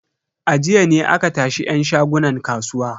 A jiya ne aka tashi yan shagunan kasuwa.